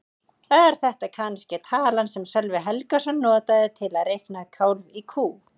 Er þetta kannske talan sem Sölvi Helgason notaði til að reikna kálf í kú?